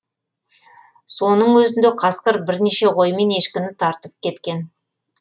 соның өзінде қасқыр бірнеше қой мен ешкіні тартып кеткен